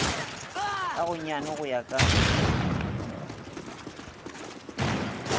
ka gonyane go ya ka